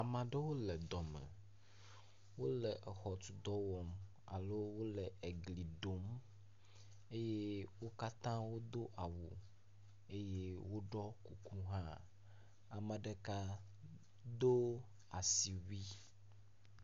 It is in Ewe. maɖewo le dɔme wóle exɔtu dɔwɔm alo wó egli ɖom eye wókatã wodó awu eye woɖɔ kuku hã ameɖeka dó asiwui